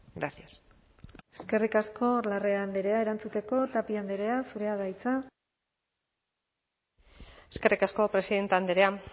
gracias eskerrik asko larrea andrea erantzuteko tapia andrea zurea da hitza eskerrik asko presidente andrea